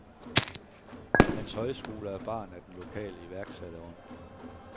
Hans højskole er barn af den lokale iværksætterånd.